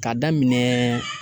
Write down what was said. K'a daminɛ